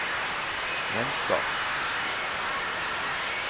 vennskap